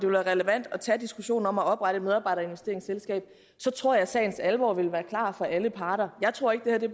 være relevant at tage diskussionen om at oprette et medarbejderinvesteringsselskab så tror jeg at sagens alvor vil være klar for alle parter jeg tror ikke det